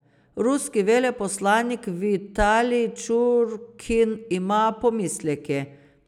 Ruski veleposlanik Vitalij Čurkin ima pomisleke.